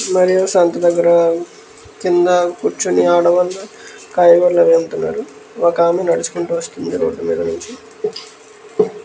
సంత దగ్ర కింద కూర్చొని ఆడవాళ్ళూ కాయగూరలు అవి అమ్ముతున్నారు ఒక ఆమె నడుడుచుకుంటూ వస్తుంది రోడ్ మీద నుంచి --